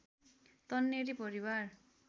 तन्नेरी परिवार